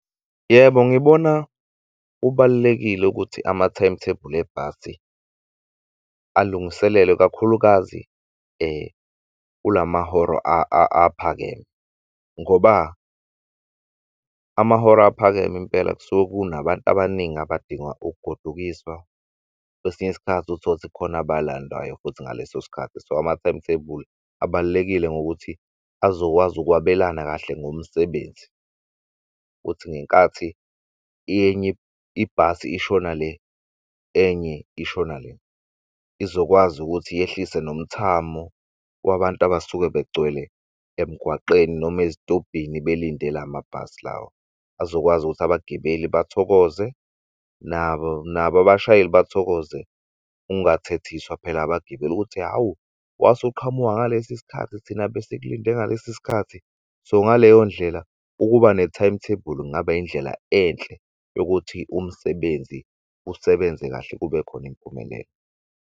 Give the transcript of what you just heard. Yebo ngibona kubalulekile ukuthi ama-timetable ebhasi alungiselelwe, ikakhulukazi kulamahora aphakeme ngoba amahora aphakeme impela, kusuke kunabantu abaningi abadinga ukugodukiswa. Kwesinye isikhathi uthola ukuthi kukhona abalandwayo futhi ngaleso sikhathi so ama-timetable abalulekile ngokuthi azokwazi ukwabelana kahle ngomsebenzi. Uthi ngenkathi enye ibhasi ishona le enye ishona le izokwazi ukuthi yehlise nomthamo kwabantu abasuke begcwele emgwaqeni noma ezitobhini belinde lamabhasi lawa azokwazi ukuthi abagibeli bathokoze nabo abashayeli bathokoze. Ungathethiswa phela abagibeli ukuthi hawu wase uqhamuka ngalesi sikhathi thina besikulinde ngalesi sikhathi. So ngaleyo ndlela ukuba ne-timetable kungaba indlela enhle yokuthi umsebenzi usebenze kahle kube khon'imiphumelelo.